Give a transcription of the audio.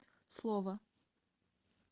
слово